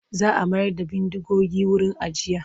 Za a mayar da bindigogin wuri ajiya.